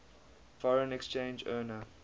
foreign exchange earner